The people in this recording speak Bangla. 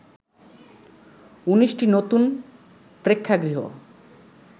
১৯টি নতুন প্রেক্ষাগৃহ